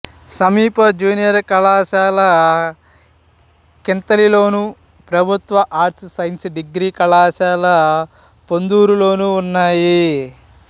సమీప జూనియర్ కళాశాల కింతలిలోను ప్రభుత్వ ఆర్ట్స్ సైన్స్ డిగ్రీ కళాశాల పొందూరులోనూ ఉన్నాయి